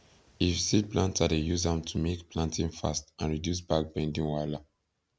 if seed planter dey use am to make planting fast and reduce back bending wahala